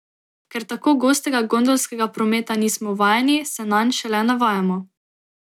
Ker tako gostega gondolskega prometa nismo vajeni, se nanj šele navajamo.